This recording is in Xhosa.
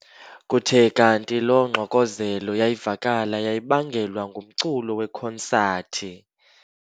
Kuthe kanti loo ngxokozelo yayavakala yayibangelwa ngumculo wekonsathi.